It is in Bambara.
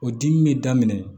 O dimi bɛ daminɛ